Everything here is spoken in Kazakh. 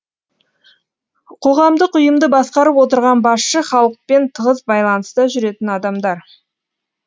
қоғамдық ұйымды басқарып отырған басшы халықпен тығыз байланыста жүретін адамдар